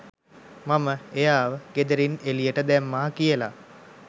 මම එයාව ගෙදරින් එළියට දැම්මා කියලා.